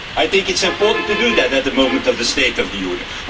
I think it is important to do that at the time of the State of the Union.